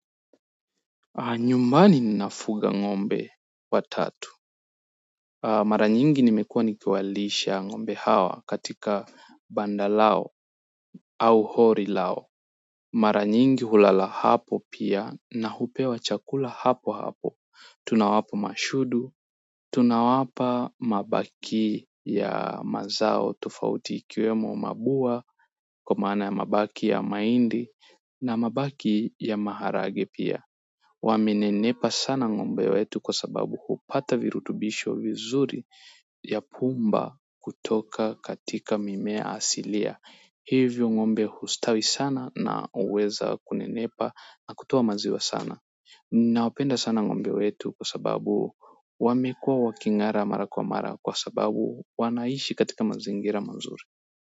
Nyumbani ninafuga ngombe watatu. Mara nyingi nimekuwa nikiwalisha ngombe hawa katika banda lao au hori lao. Mara nyingi hulala hapo pia na hupewa chakula hapo hapo. Tunawapa mashudu. Tunawapa mabaki ya mazao tofauti ikiwemo mabua. Kwa maana ya mabaki ya mahindi na mabaki ya maharage pia. Wamenenepa sana ngombe wetu kwa sababu hupata virutubisho vizuri ya pumba kutoka katika mimea asilia. Hivyo ngombe hustawi sana na uweza kunenepa na kutoa maziwa sana. Nawapenda sana ngombe wetu kwa sababu wamekuwa wakingara mara kwa mara kwa sababu wanaishi katika mazingira mazuri.